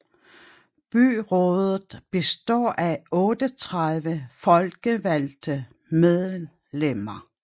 Byrådet består af 38 folkevalgte medlemmer